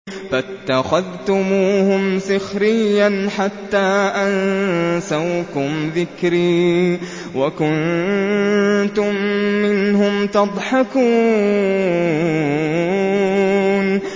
فَاتَّخَذْتُمُوهُمْ سِخْرِيًّا حَتَّىٰ أَنسَوْكُمْ ذِكْرِي وَكُنتُم مِّنْهُمْ تَضْحَكُونَ